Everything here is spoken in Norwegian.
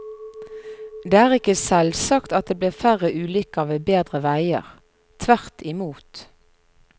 Det er ikke selvsagt at det blir færre ulykker ved bedre veier, tvert imot.